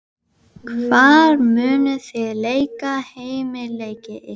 Hagræðir röndóttri þverslaufu og klórar sér á hökunni.